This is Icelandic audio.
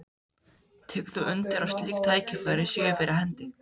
Tekur þú undir að slík tækifæri séu fyrir hendi?